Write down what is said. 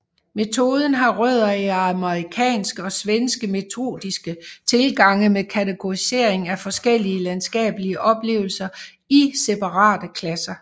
Metoden har rødder i amerikanske og svenske metodiske tilgange med kategorisering af forskellige landskabelige oplevelser i separate klasser